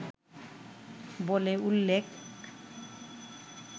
বলে উল্লেখ